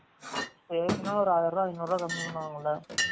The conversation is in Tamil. பேசுனா ஒரு ஆயிரம் ருவா அய்னூரு ரூவா கம்மி பன்னுவாங்கலா?